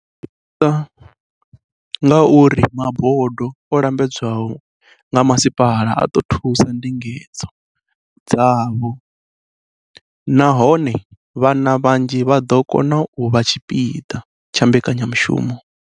O ḓadzisa nga uri mabodo o lambedzwaho nga masipala a ḓo thusa ndingedzo dzavho nahone vhana vhanzhi vha ḓo kona u vha tshipiḓa tsha mbekanyamushumo.